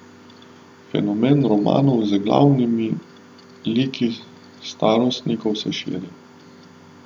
Fenomen romanov z glavnimi liki starostnikov se širi.